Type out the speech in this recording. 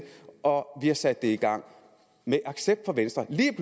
og vi har sat det i gang med accept fra venstre lige